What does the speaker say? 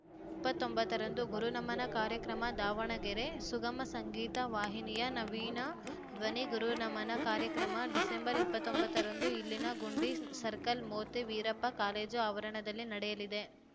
ಇಪ್ಪತ್ತೊಂಬತ್ತರಂದು ಗುರುನಮನ ಕಾರ್ಯಕ್ರಮ ದಾವಣಗೆರೆ ಸುಗಮ ಸಂಗೀತ ವಾಹಿನಿಯ ನವೀನ ಧ್ವನಿ ಗುರುನಮನ ಕಾರ್ಯಕ್ರಮ ಡಿಸೆಂಬರ್ ಇಪ್ಪತ್ತೊಂಬತ್ತರಂದು ಇಲ್ಲಿನ ಗುಂಡಿ ಸರ್ಕಲ್‌ ಮೋತಿ ವೀರಪ್ಪ ಕಾಲೇಜು ಆವರಣದಲ್ಲಿ ನಡೆಯಲಿದೆ